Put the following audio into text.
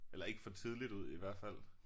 Eller ikke for tidligt ud i hvert fald